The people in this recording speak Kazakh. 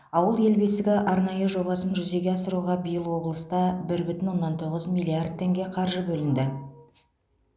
ауыл ел бесігі арнайы жобасын жүзеге асыруға биыл облыста бір бүтін оннан тоғыз миллиард теңге қаржы бөлінді